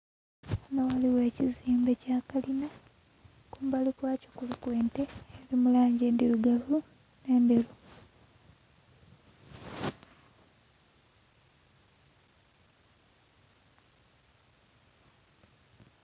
Ghano ghaligho ekizimbe kya kalina kumbali kwakyo kuliku ente eri mu langi endhirugavu ne ndheru.